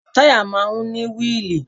Táyà máa ń ní wíìlì